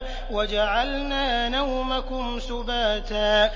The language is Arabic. وَجَعَلْنَا نَوْمَكُمْ سُبَاتًا